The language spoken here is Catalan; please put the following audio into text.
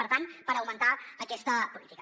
per tant per augmentar aquesta política